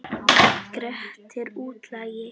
Grettir útlagi.